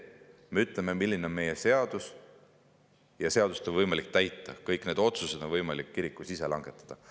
Me ütleme, milline on meie seadus, ja seadust on võimalik täita, kõik need otsused on võimalik kirikul langetada.